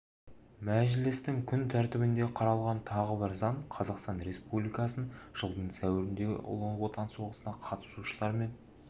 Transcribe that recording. мәжілістің күн тәртібінде қаралған тағы бір заң қазақстан республикасының жылдың сәуіріндегі ұлы отан соғысына қатысушылар мен